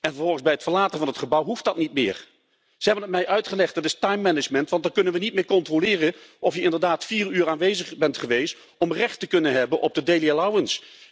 En vervolgens bij het verlaten van het gebouw hoeft dat niet meer? Ze hebben het mij uitgelegd. Dat is timemanagement want dan kunnen we niet meer controleren of je inderdaad vier uur aanwezig bent geweest om recht te hebben op de dagvergoeding!